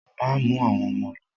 Má mú àwọn ọmọ lo!